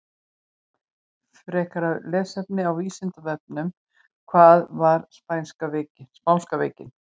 Frekara lesefni á Vísindavefnum: Hvað var spánska veikin?